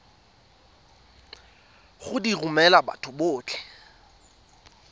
go di romela batho botlhe